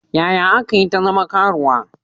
Yaya aka yi ta zama karuwa?